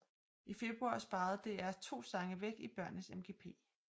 I februar sparede DR to sange væk i børnenes MGP